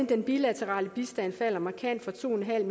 den bilaterale bistand markant fra to en